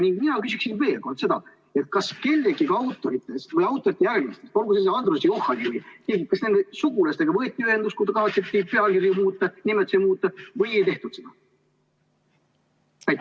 Ning mina küsiksin veel kord seda: kas kellegagi autoritest või autorite järeltulijatest – olgu see Andrus Johani –, kas nende sugulastega võeti ühendust, kui kavatseti pealkirju muuta, nimetusi muuta, või ei tehtud seda?